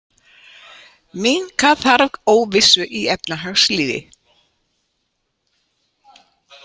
Minnka þarf óvissu í efnahagslífi